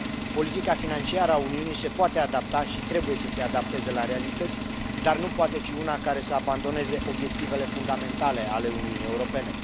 Politica financiară a Uniunii se poate adapta și trebuie să se adapteze la realități, dar nu poate fi una care să abandoneze obiectivele fundamentale ale Uniunii Europene.